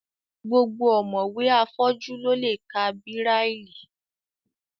Gbogbo ọ̀mọ̀wé afọ́jú ló lè ka bíráílì